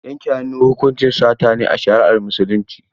Yanke hannu hukuncin sata ne a shari'ar Musulunci.